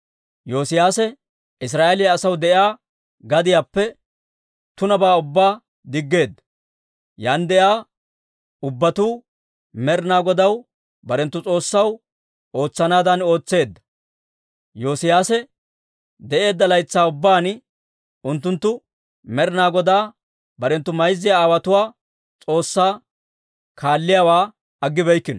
Yoosiyaase Israa'eeliyaa asaw de'iyaa gadiyaappe tunabaa ubbaa diggeedda. Yaan de'iyaa ubbatuu Med'inaa Godaw, barenttu S'oossaw, ootsanaadan ootseedda. Yoosiyaase de'eedda laytsaa ubbaan, unttunttu Med'inaa Godaa barenttu mayza aawotuwaa S'oossaa kaalliyaawaa aggibeykkino.